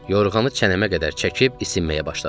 Yorğanı çənəmə qədər çəkib isinməyə başladım.